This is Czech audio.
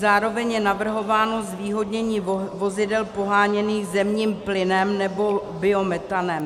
Zároveň je navrhováno zvýhodnění vozidel poháněných zemním plynem nebo biometanem.